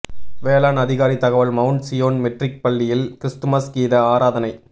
வேளாண் அதிகாரி தகவல் மவுண்ட் சீயோன் மெட்ரிக் பள்ளியில் கிறிஸ்துமஸ் கீத ஆராதனை